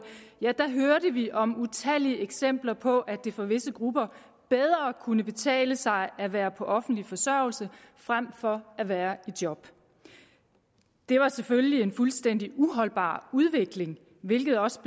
hørte vi om utallige eksempler på at det for visse grupper bedre kunne betale sig at være på offentlig forsørgelse frem for at være i job det var selvfølgelig en fuldstændig uholdbar udvikling hvilket også